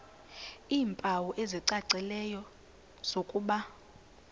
iimpawu ezicacileyo zokuba